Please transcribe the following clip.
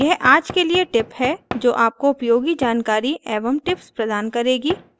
यह आज के लिए tip है जो आपको उपयोगी जानकारी एवं tips प्रदान करेगी